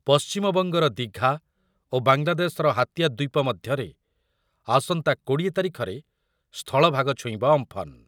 ପଶ୍ଚିମବଙ୍ଗର ଦିଘା ଓ ବାଙ୍ଗଲାଦେଶର ହାତିଆ ଦ୍ୱୀପ ମଧ୍ୟରେ ଆସନ୍ତା କୋଡ଼ିଏ ତାରିଖରେ ସ୍ଥଳଭାଗ ଛୁଇଁବ ଅମ୍ଫନ୍ ।